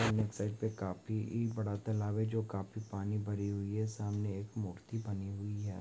Side पे काफी इ बड़ा तालाब है जो काफी पानी भरी हुई है सामने एक मूर्ति बनी हुई है।